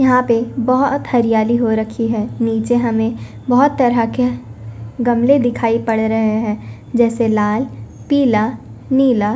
यहां पे बहुत हरियाली हो रखी है नीचे हमें बहुत तरह के गमले दिखाई पड़ रहे हैं जैसे लाल पीला नीला।